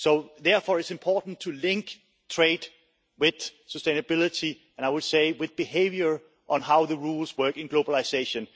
Therefore, it is important to link trade with sustainability and, I would say, with behaviour on how the rules work in globalisation.